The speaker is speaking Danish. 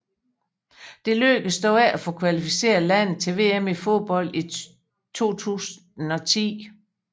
Det lykkedes dog ikke at få kvalificeret landet til VM i fodbold 2010